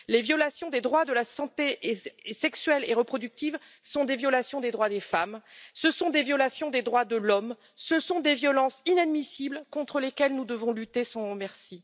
Les violations des droits de la santé sexuelle et reproductive sont des violations des droits des femmes, ce sont des violations des droits de l'homme, ce sont des violences inadmissibles contre lesquelles nous devons lutter sans merci.